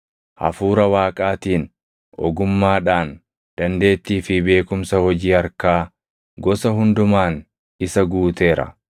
Hafuura Waaqaatiin, ogummaadhaan, dandeettii fi beekumsa hojii harkaa gosa hundumaan isa guuteera.